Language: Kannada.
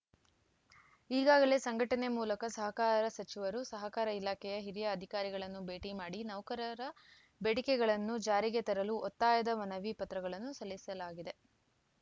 ಈಗಾಗಲೇ ಸಂಘಟನೆ ಮೂಲಕ ಸಹಕಾರ ಸಚಿವರು ಸಹಕಾರ ಇಲಾಖೆಯ ಹಿರಿಯ ಅಧಿಕಾರಿಗಳನ್ನು ಭೇಟಿ ಮಾಡಿ ನೌಕರರ ಬೇಡಿಕೆಗಳನ್ನು ಜಾರಿಗೆ ತರಲು ಒತ್ತಾಯದ ಮನವಿ ಪತ್ರಗಳನ್ನು ಸಲ್ಲಿಸಲಾಗಿದೆ